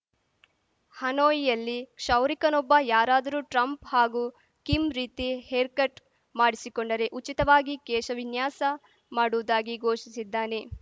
ಹನೋಯಿಯಲ್ಲಿ ಕ್ಷೌರಿಕನೊಬ್ಬ ಯಾರಾದರೂ ಟ್ರಂಪ್‌ ಹಾಗೂ ಕಿಮ್‌ ರೀತಿ ಹೇರ್‌ಕಟ್‌ ಮಾಡಿಸಿಕೊಂಡರೆ ಉಚಿತವಾಗಿ ಕೇಶ ವಿನ್ಯಾಸ ಮಾಡುವುದಾಗಿ ಘೋಷಿಸಿದ್ದಾನೆ